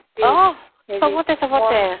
অহ চবতে চবতে